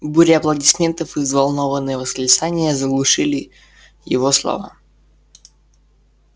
буря аплодисментов и взволнованные восклицания заглушили его слова